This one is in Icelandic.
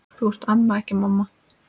Þú ert amma, ekki mamma.